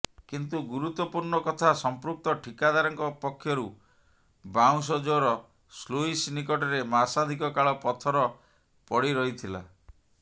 କିନ୍ତୁ ଗୁରତ୍ୱପୂର୍ଣ୍ଣ କଥା ସଂପୃକ୍ତ ଠିକାଦାରଙ୍କ ପକ୍ଷରୁ ବାଉଁଶଜୋର ସ୍ଲୁଇସ ନିକଟରେ ମାସାଧିକ କାଳ ପଥର ପଡିରହିଥିଲା